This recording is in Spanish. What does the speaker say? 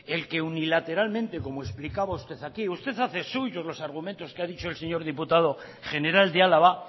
el que unilateralmente como explicaba usted aquí usted hace suyos los argumentos que ha dicho el señor diputado general de álava